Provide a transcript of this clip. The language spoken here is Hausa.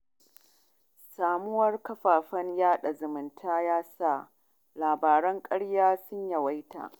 Samuwar kafafen yaɗa zumunta ya sa labaran ƙarya sun yawaita